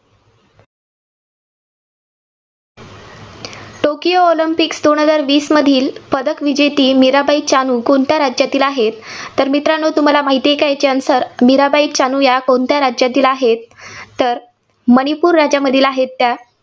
Tokyo Olympic दोन हजार वीसमधील पदक विजेती मिराबाई चानू कोणत्या राज्यातील आहे? तर मित्रांनो तुम्हाला माहिती आहे का याचे answer मिराबाई चानू या कोणत्या राज्यातील आहेत? तर मणिपूर राज्यामधील आहेत त्या.